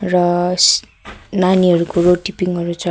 र सि नानीहरूको रोटीपिङहरू छ।